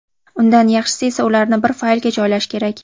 Undan yaxshisi esa ularni bir faylga joylash kerak.